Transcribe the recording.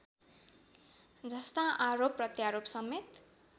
जस्ता आरोप प्रत्यारोपसमेत